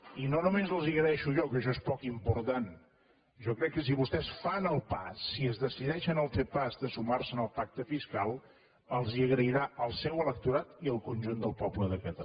i no només els ho agraeixo jo que això és poc important jo crec que si vostès fan el pas si es decideixen a fer el pas de sumar se al pacte fiscal els ho agrairan el seu electorat i el conjunt del poble de catalunya